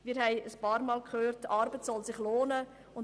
Wir haben einige Male gehört, dass sich Arbeit lohnen soll.